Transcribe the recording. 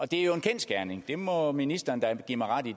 det er jo en kendsgerning det må ministeren da give mig ret i